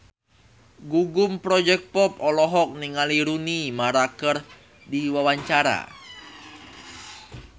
Gugum Project Pop olohok ningali Rooney Mara keur diwawancara